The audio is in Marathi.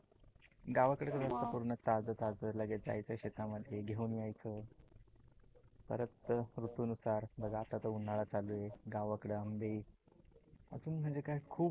गावाकड कस असते पूर्ण ताज ताज लगेच जायचं शेतामध्ये घेऊन यायचं, परत ऋतू नुसार बघ आता तर उन्हाळा चालू आहे. गावाकड आंबे अजून म्हणजे काय खुप